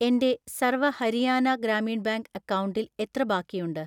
എൻ്റെ സർവ ഹരിയാന ഗ്രാമീൺ ബാങ്ക് അക്കൗണ്ടിൽ എത്ര ബാക്കിയുണ്ട്?